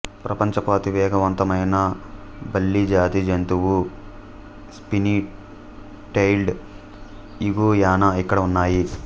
ప్రపంచపు అతివేగవంతమైన బల్లిజాతి జంతువు స్పినీ టెయిల్డ్ ఇగుయానా ఇక్కడ ఉన్నాయి